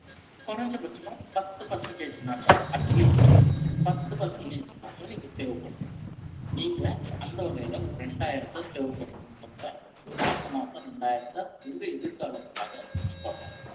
குறைந்தபட்சமா, பத்து percentage னாச்சும், at least, பத்து percentage னாச்சும், நீங்க save பண்ணணும். நீங்க, அந்த வகையில, ஒரு ரெண்டாயிரத்தை save பண்ணணும். மாசம் மாசம் இரண்டாயிரத்தை, உங்க எதிர்காலத்துக்காக வச்சுக்கோங்க.